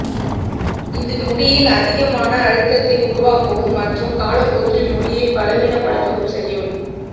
இது முடியில் அதிகமான அழுத்தத்தை உருவாக்கவும் மற்றும் காலப்போக்கில் முடியை பலவீனப்படுத்தவும் செய்யும்